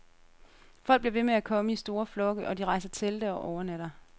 Folk bliver ved med at komme i store flokke, og de rejser telte og overnatter.